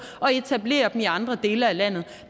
og etablerer dem i andre dele af landet